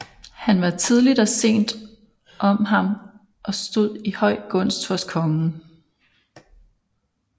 Han var tidligt og sent om ham og stod i høj gunst hos kongen